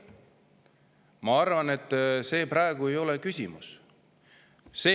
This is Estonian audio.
Ma arvan, et see ei ole praegu küsimus.